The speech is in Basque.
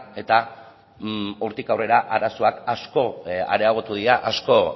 eta hortik aurrera arazoak asko areagotu dira asko